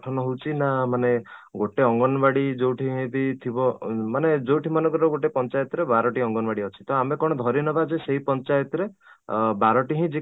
ଗଠନ ହଉଛି ନା ମାନେ ଗୋଟେ ଅଙ୍ଗନବାଡି ଯୋଉଠି may be ଥିବ ମାନେ ଯଉଠି ମନେକର ଗୋଟେ ପଞ୍ଚାୟତ ରେ ବାରଟି ଅଙ୍ଗନବାଡି ଅଛି ତ ଆମେ କ'ଣ ଧରିନେବା ଯେ ସେଇ ପଞ୍ଚାୟତ ରେ ଅଂ ବାରଟି ହିଁ ରେ